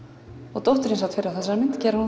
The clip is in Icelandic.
og dóttir þín sat fyrir á þessari mynd gerir hún